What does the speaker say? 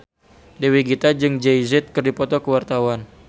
Dewi Gita jeung Jay Z keur dipoto ku wartawan